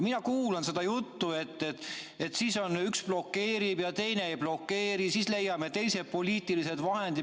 Mina kuulan seda juttu, et üks blokeerib ja teine ei blokeeri, ja siis leiame teised poliitilised vahendid.